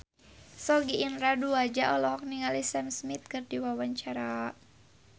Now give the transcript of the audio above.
Sogi Indra Duaja olohok ningali Sam Smith keur diwawancara